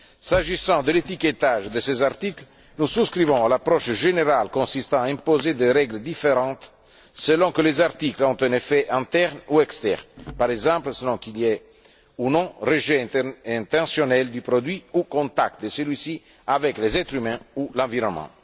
S'agissant de l'étiquetage de ces articles, nous souscrivons à l'approche générale consistant à imposer des règles différentes selon que les articles ont un effet interne ou externe, par exemple, selon qu'il y ait ou non rejet intentionnel du produit ou contact de celui ci avec les êtres humains ou l'environnement.